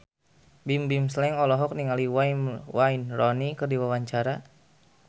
Bimbim Slank olohok ningali Wayne Rooney keur diwawancara